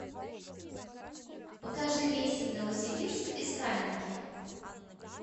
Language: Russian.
покажи рейсы в новосибирск из каменки